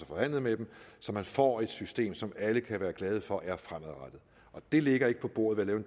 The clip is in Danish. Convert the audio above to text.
forhandlet med dem så man får et system som alle kan være glade for er fremadrettet og det ligger ikke på bordet ved at